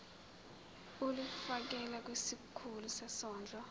ulifiakela kwisikulu sezondlo